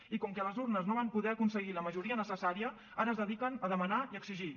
i com que a les urnes no van poder aconseguir la majoria necessària ara es dediquen a demanar i a exigir